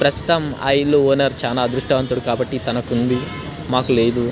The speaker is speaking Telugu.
ప్రస్తుతం ఆ ఇంటి ఓనర్ చాలా అదృష్టవంతుడు కాబ్బటి తనకి ఉంది మాకు లేదు--